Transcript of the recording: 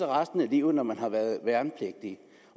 resten af livet når man har været værnepligtig